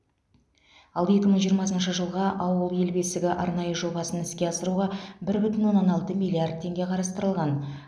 ал екі мың жиырмасыншы жылға ауыл ел бесігі арнайы жобасын іске асыруға бір бүтін оннан алты миллиард теңге қарастырылған